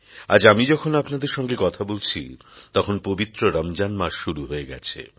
আজ আমি যখন আপনাদের সঙ্গে কথা বলছি তখন পবিত্র রমজান মাস শুরু হয়ে গেছে